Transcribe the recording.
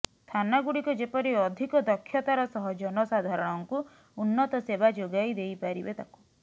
ଥାନାଗୁଡ଼ିକ ଯେପରି ଅଧିକ ଦକ୍ଷତାର ସହ ଜନସାଧାରଣଙ୍କୁ ଉନ୍ନତ ସେବା ଯୋଗାଇ ଦେଇପାରିବେ ତାକୁ